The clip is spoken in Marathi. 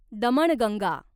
दमणगंगा